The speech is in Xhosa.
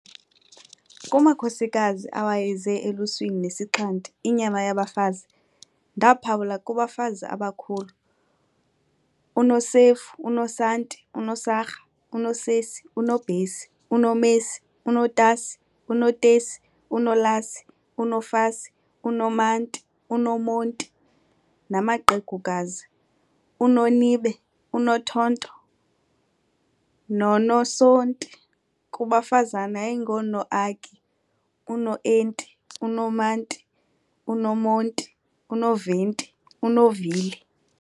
Kumakhosikazi awayeze eluswini nesixhanti, inyama yabafazi, ndaaphawula, kubafazi abakhulu- U"Nosef"u, u"Nosanti", u"Nosarha", u"Nosesi", u"Nobhesi", u"Nomesi", u"Notasi", u"Notesi", u"Nolasi", u"Nofasi", u"Nomanti", u"Nomonti", namaqegukazi- U"Nonibe", u"Nothonto", nono"Sonti". kubafazana yayingunoaki, u"Noenti", u"Nomanti", u"Nomonti", u"Noventi", u"Novili".